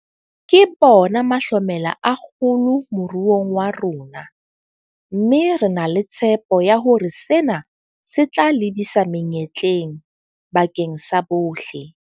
Ke bona mahlomela a kgolo moruong wa rona, mme re na le tshepo ya hore sena se tla lebisa menyetleng bakeng sa bohle.